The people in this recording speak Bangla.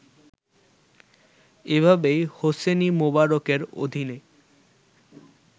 এভাবেই হোসনি মোবারকের অধীনে